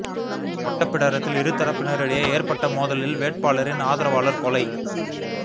ஓட்டப்பிடாரத்தில் இரு தரப்பினர் இடையே ஏற்பட்ட மோதலில் வேட்பாளரின் ஆதரவாளர் கொலை